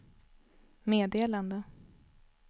meddelade